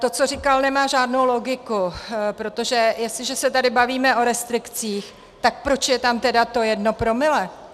To, co říkal, nemá žádnou logiku, protože jestliže se tady bavíme o restrikcích, tak proč je tam tedy to jedno promile?